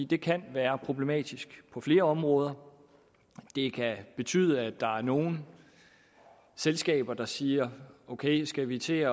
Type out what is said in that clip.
det kan være problematisk på flere områder det kan betyde at der er nogle selskaber der siger ok skal vi til at